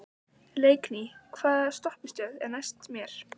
Leikný, hvaða stoppistöð er næst mér?